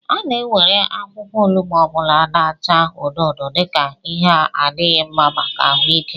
A na-ewere akwukwo onugbu ọ bụla na-acha odo odo dika Ihe n'adịghị mma maka ahụike